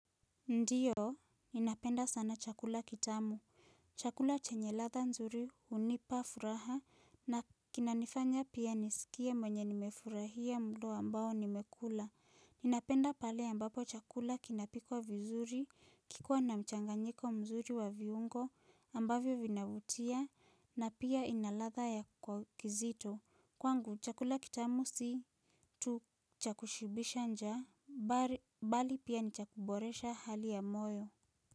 Ndiyo, ninapenda sana chakula kitamu. Chakula chenye ladha nzuri hunipa furaha na kinanifanya pia nisikie mwenye nimefurahia mda ambao nimekula. Ninapenda pale ambapo chakula kinapikwa vizuri kikiwa na mchanganyiko mzuri wa viungo ambavyo vinavutia na pia ina ladha ya kwa kizito. Kwangu, chakula kitamu si tu cha kushibisha njaa bali pia ni cha kuboresha hali ya moyo.